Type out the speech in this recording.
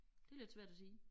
Det lidt svært at sige